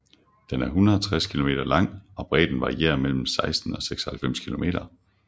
Den er 160 kilometer lang og bredden varierer mellem 16 til 96 kilometer